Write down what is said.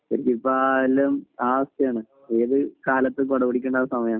ശരിക്കിപ്പം ആ അവസ്ഥയാണ്‌ . ഏത് രാത്രിക്കും കുട പിടിക്കെടാ അവസ്ഥയാണ്